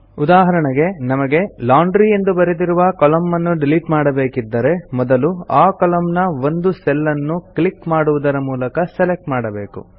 ಉದಾಹರಣೆಗೆ ನಮಗೆ ಲಾಂಡ್ರಿ ಎಂದು ಬರೆದಿರುವ ಕಾಲಮ್ನ ಅನ್ನು ಡಿಲಿಟ್ ಮಾಡಬೇಕಿದ್ದರೆ ಮೊದಲು ಆ ಕಾಲಮ್ನ ನ ಒಂದು ಸೆಲ್ ಅನ್ನು ಕ್ಲಿಕ್ ಮಾಡುವುದರ ಮೂಲಕ ಸೆಲೆಕ್ಟ್ ಮಾಡಬೇಕು